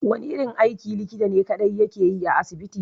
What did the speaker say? Wani irin aiki ne likta kaɗai yake yi a asibiti?